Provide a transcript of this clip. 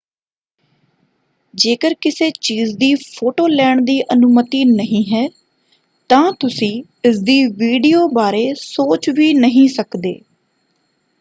ਜੇਕਰ ਕਿਸੇ ਚੀਜ਼ ਦੀ ਫੋਟੋ ਲੈਣ ਦੀ ਅਨੁਮਤੀ ਨਹੀਂ ਹੈ ਤਾਂ ਤੁਸੀਂ ਇਸਦੀ ਵੀਡੀਓ ਬਾਰੇ ਸੋਚ ਵੀ ਨਹੀਂ ਸਕਦੇ।